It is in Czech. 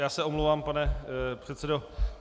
Já se omlouvám, pane předsedo.